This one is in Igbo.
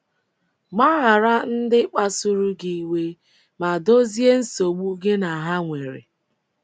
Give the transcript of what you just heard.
Gbaghara ndị kpasuru gị iwe, ma dozie nsogbu gị na ha nwere.